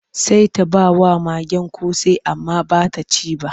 Sai ta ba wa magen ƙosai amma ba ta ci ba.